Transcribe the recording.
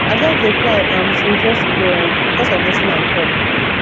i just just dey cry um since yesterday um because of wetin i talk